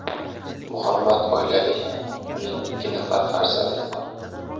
Muhammad oilali, uning ikki nafar farzandi bor.